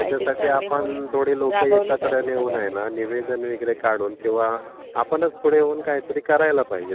त्याच्यासाठी ping sound आपण थोडी लोकं एकत्र येऊन आहे न निवेदन वगैरे काढून किंवा आपणच पुढे येऊन काहीतरी करायला पाहिजे.